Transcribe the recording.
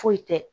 Foyi tɛ